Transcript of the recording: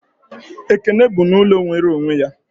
Ekene bi n'ụlọ nwere onwe ya